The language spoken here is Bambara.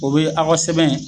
O be aw ka sɛbɛn